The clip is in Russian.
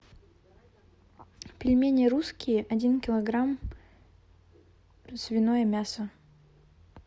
пельмени русские один килограмм свиное мясо